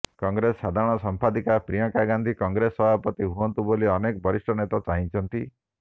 କଂଗ୍ରେସ ସାଧାରଣ ସମ୍ପାଦିକା ପ୍ରିୟଙ୍କା ଗାନ୍ଧୀ କଂଗ୍ରେସ ସଭାପତି ହୁଅନ୍ତୁ ବୋଲି ଅନେକ ବରିଷ୍ଠ ନେତା ଚାହିଛନ୍ତି